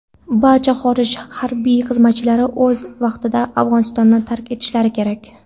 barcha xorij harbiy xizmatchilari o‘z vaqtida Afg‘onistonni tark etishlari kerak.